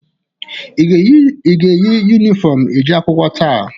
Ị ga-eyi yunifọmụ eje akwụkwọ taa?